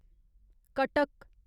Cuttack